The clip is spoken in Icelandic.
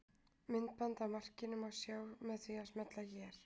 Myndband af markinu má sjá með því að smella hér